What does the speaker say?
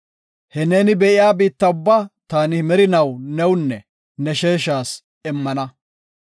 He neeni be7iya biitta ubba taani merinaw newunne ne sheeshas immana.